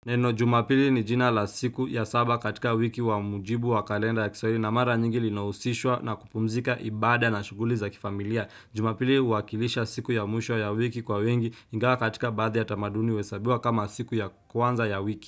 Neno jumapili ni jina la siku ya saba katika wiki wa mjibu wa kalenda ya kiswahili na mara nyingi linahusishwa na kupumzika ibada na shughuli za kifamilia. Jumapili uakilisha siku ya mwisho ya wiki kwa wengi ingawa katika baadhi ya tamaduni huesabiwa kama siku ya kwanza ya wiki.